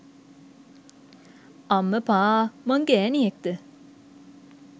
අම්මපා මං ගෑණියෙක්ද?